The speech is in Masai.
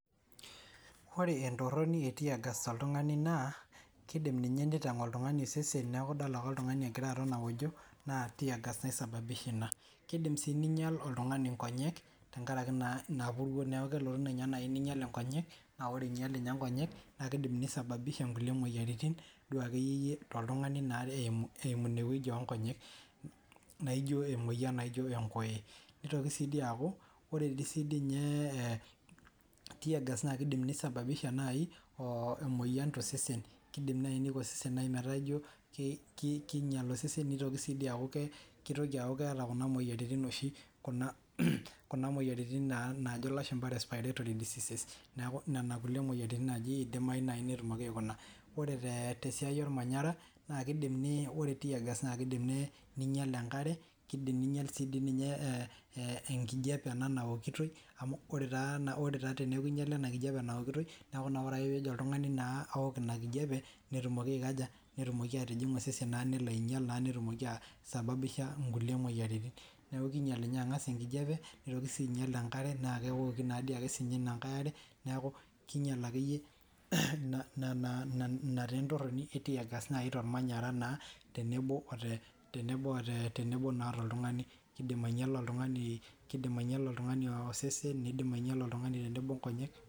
Ore entoroni e tear gas toltung'ani naa kiidim ninye nitang'ie oltung'ani osesen neeku idol ake oltung'ani egira aton aojo naa tear gas naisabisha ina. Kiidim sii niinyal oltung'ani nkonyek tenkaraki naa ina puruo neeku kelotu ninye nai niinyal nkonyek, naa ore iinyal nye nkonyek naake iidim nisababisha nkulie moyiaritin duo akeyieyie toltung'ani naa re eimu eimu ina wueji oo nkonyek naijo emoyian naijo enkoye. Nitoki sii dii aaku ore dii siinye e tear gas naake iidim nisababisha nai oo emoyian to sesen, kiidim nai niko osesen meeta ijo ki ki kinyal osesen, nitoki sii dii aaku ke kitoki aaku keeta kuna moyiaritin oshi kuna kuna moyiaritin naa naajo lashumba respiratory diseases, neeku nena kuliek moyiaritin naaji idimayu nai netumoki aikuna. Ore tee te siai ormanyara naake iidimi ni ore tear gas naake iidim ni niinyal enkare, kiidim ninyal sii dii ninye ee ee enkijape ena nawokitoi amu ore taa na ore taa teneeku inyala ena kijape nawokitoi neeku naa ore ake peejo oltung'ani naa awok ina kijape netumoki aikaja netumoki atijing'a osesen naa nelo ainyal naa netumoki aa aisababisha nkulie moyiaritin, Neeku kiinyal nye ang'as enkijape, nitoki sii ainyal enkare naake ewoki naa dii ake sinye ina nkae are, neeku kiinyal akeyie nena nena ina tee entoroni e tear gas nai tormanyara naa tenebo oo te tenebo oo te tenebo naa tooltung'ani kiidim ainyala oltung'ani kiidim oltung'ani oosesen, niidim ainyala oltung'ani tenebo nkonyek.